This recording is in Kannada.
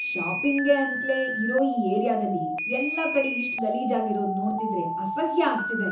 ಶಾಪಿಂಗ್‌ಗೆ ಅಂತ್ಲೇ ಇರೋ ಈ ಏರಿಯಾದಲ್ಲಿ ಎಲ್ಲ ಕಡೆ ಇಷ್ಟ್‌ ಗಲೀಜಾಗಿರೋದ್ ನೋಡ್ತಿದ್ರೆ ಅಸಹ್ಯ ಆಗ್ತಿದೆ.